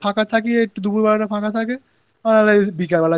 একটুখানি ফাঁকা থাকি দুপুরবেলাটা একটুখানি ফাঁকা থাকে আর এই